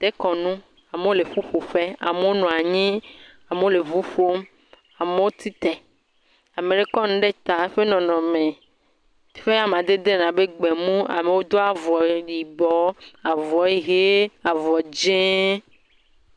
Dekɔnu, amewo le ƒuƒoƒe. Amewo nɔ anyi. Amewo le ʋu ƒom. Amewo ti te. Ame ɖe kɔnu ɖe ta, eƒe nɔnɔme ƒe amadede le abe gbemu. Amewo do avɔ yibɔ, avɔ ɣe, avɔ dzẽ.